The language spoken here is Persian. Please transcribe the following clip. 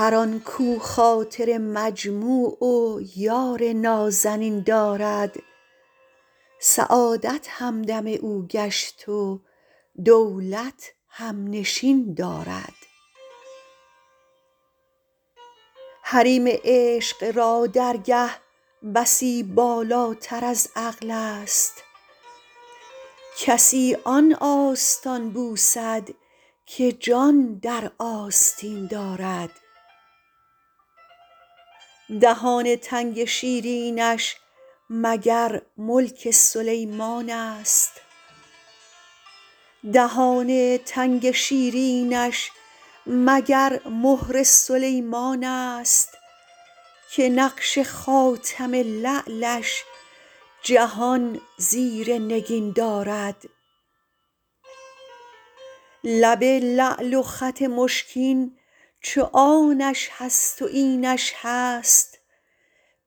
هر آن کاو خاطر مجموع و یار نازنین دارد سعادت همدم او گشت و دولت هم نشین دارد حریم عشق را درگه بسی بالاتر از عقل است کسی آن آستان بوسد که جان در آستین دارد دهان تنگ شیرینش مگر ملک سلیمان است که نقش خاتم لعلش جهان زیر نگین دارد لب لعل و خط مشکین چو آنش هست و اینش هست